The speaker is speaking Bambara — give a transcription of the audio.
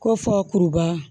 Ko fɔ kuruba